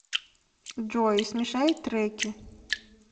джой смешай треки